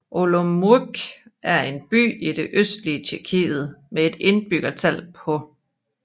Olomouc er en by i det østlige Tjekkiet med et indbyggertal på